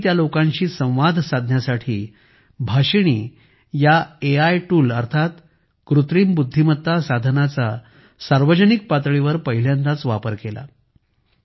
तिथे मी त्या लोकांशी संवाद साधण्यासाठी भाषिणी या एआय टूल अर्थात कृत्रिम बुद्धीमत्ता साधनाचा सार्वजनिक पातळीवर पहिल्यांदाच वापर केला